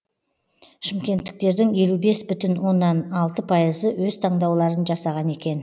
шымкенттіктердің елу бес бүтін оннан алты пайызы өз таңдауларын жасаған екен